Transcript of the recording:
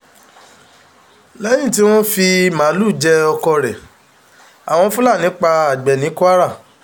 lẹ́yìn tí wọ́n fi màálùú jẹ ọkọ rẹ̀ àwọn fúlàní pa àgbẹ̀ ní kwara